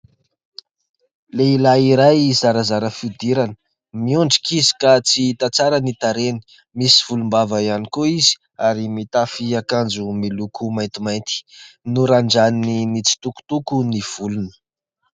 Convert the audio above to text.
Lehilahy iray zarazara fihodirana, miondrika izy ka tsy hita tsara ny tarehiny, misy volombava ihany koa izy ary mitafy akanjo miloko maintimainty, norandraniny mitsitokotoko ny volony.